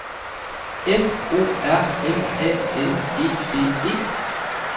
F O R M A N E D E